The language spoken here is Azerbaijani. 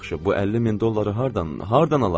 Yaxşı, bu 50 min dolları hardan, hardan alaq?